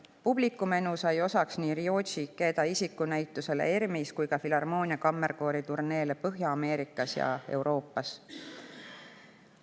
Publikumenu sai osaks nii Ryoji Ikeda isikunäitusele ERM-is kui ka Filharmoonia Kammerkoori turneele Põhja-Ameerikas ja Euroopas.